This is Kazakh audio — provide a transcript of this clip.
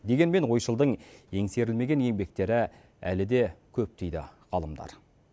дегенмен ойшылдың еңсерілмеген еңбектері әлі де көп дейді ғалымдар